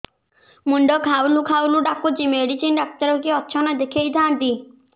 ମୁଣ୍ଡ ଖାଉଲ୍ ଖାଉଲ୍ ଡାକୁଚି ମେଡିସିନ ଡାକ୍ତର କିଏ ଅଛନ୍ ଦେଖେଇ ଥାନ୍ତି